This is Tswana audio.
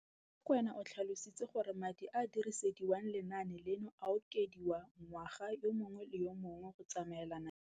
Rakwena o tlhalositse gore madi a a dirisediwang lenaane leno a okediwa ngwaga yo mongwe le yo mongwe go tsamaelana le